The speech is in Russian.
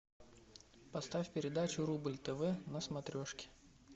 поставь передачу рубль тв на смотрешке